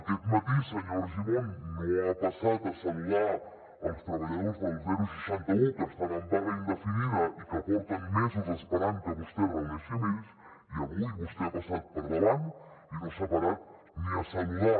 aquest matí senyor argimon no ha passat a saludar els treballadors del seixanta un que estan en vaga indefinida i que porten mesos esperant que vostè es reuneixi amb ells i avui vostè ha passat per davant i no s’ha parat ni a saludar